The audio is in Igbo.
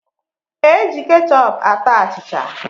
E ji kechọp ata achịcha